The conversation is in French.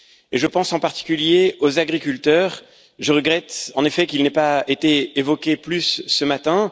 Je pense en particulier aux agriculteurs et je regrette, en effet, qu'ils n'aient pas été évoqués davantage ce matin.